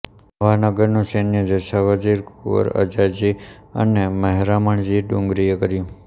નવાનગરનું સૈન્ય જસા વજીર કુંવર અજાજી અને મહેરામણજી ડુંગરાણીએ કર્યું